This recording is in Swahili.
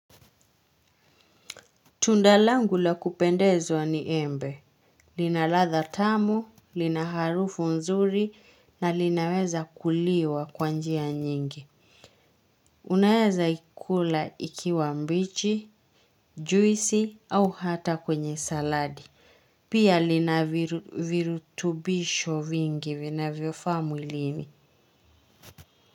Tundalangu la kupendezwa ni embe, lina ladha tamu, lina harufu nzuri na linaweza kuliwa kwa njia nyingi. Unaweza ikula ikiwa mbichi, juisi au hata kwenye saladi. Pia lina virutubisho vingi vina vyofaa mwilini.